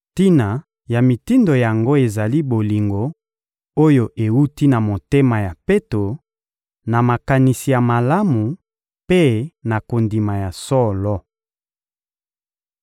Tina ya mitindo yango ezali bolingo oyo ewuti na motema ya peto, na makanisi ya malamu mpe na kondima ya solo.